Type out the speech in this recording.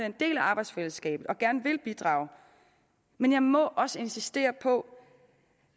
en del af arbejdsfællesskabet og gerne vil bidrage men jeg må også insistere på